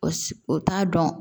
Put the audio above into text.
O o t'a dɔn